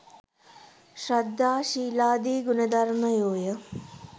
ශ්‍රද්ධා ශීලාදි ගුණධර්මයෝය.